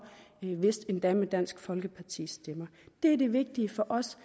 vist endda med dansk folkepartis stemmer det er det vigtige for os